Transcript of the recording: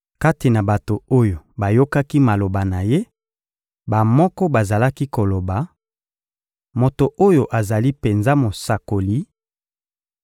Kati na bato oyo bayokaki maloba na Ye, bamoko bazalaki koloba: «Moto oyo azali penza Mosakoli,»